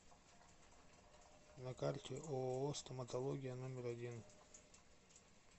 на карте ооо стоматология номер один